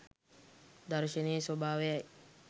දර්ශනයේ ස්වභාවයයි.